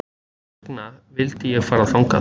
Þess vegna vildi ég fara þangað